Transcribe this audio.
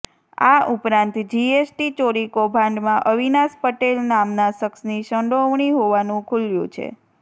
આ ઉપરાંત જીએસટી ચોરી કોભાંડમાં અવિનાશ પટેલ નામના શખ્શની સંડોવણી હોવાનું ખુલ્યું છે